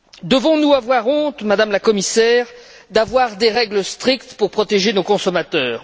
Devons nous avoir honte, Madame la Commissaire, d'avoir des règles strictes pour protéger nos consommateurs?